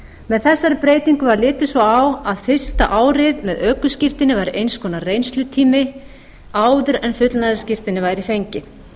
með þessari breytingu var litið svo á að fyrsta árið með ökuskírteini var eins konar reynslutími áður en fullnaðarskírteini væri fengið